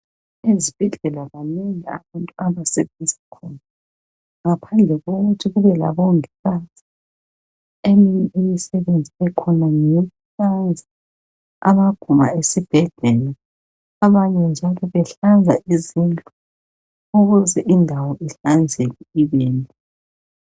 Izibhedlela banengi abantu abasebenza khona ngaphandle kokuthi kube labongikazi eminye imisebenzi ekhona ngeyokuhlanza amaguma esibhedlela abanye njalo behlanza izindlu ukuze indawo ihlanzeke ibenhle.